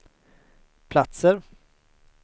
platser